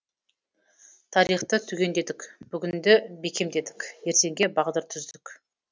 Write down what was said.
тарихты түгендедік бүгінді бекемдедік ертеңге бағдар түздік